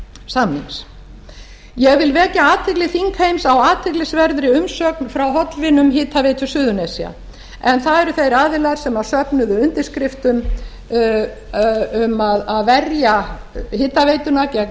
samnings ég vil vekja athygli þingheims á á athyglisverðri umsögn frá hollvinum hitaveitu suðurnesja en það eru þeir aðilar sem söfnuðu undirskriftum um að verja hitaveituna gegn